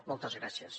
moltes gràcies